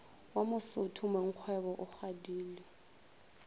wa mosotho mongkgwebo o kgadile